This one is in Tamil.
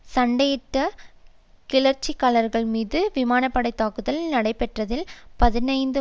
சண்டையிட்ட கிளர்ச்சிக்காரர்கள் மீது விமான படை தாக்குதல்கள் நடைபெற்றதில் பதினைந்து